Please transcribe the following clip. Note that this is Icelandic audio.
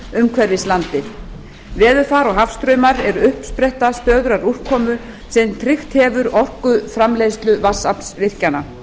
umhverfis landið veðurfar og hafstraumar eru uppspretta stöðugrar úrkomu sem tryggt hefur orkuframleiðslu vatnsaflsvirkjana